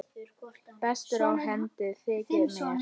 Bestur á hendi þykir mér.